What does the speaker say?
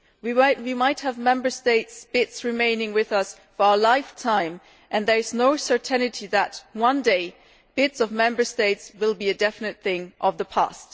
We might have Member States' BITs remaining with us for our lifetime and there is no certainty that one day Member States' BITs will be a definite thing of the past.